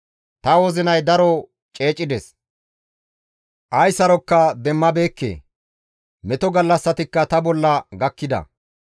Ta wozinay daro ceecides; ay saroka demmabeekke; meto gallassatikka ta bolla gakkida.